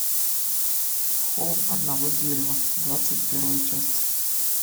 холм одного дерева двадцать первая часть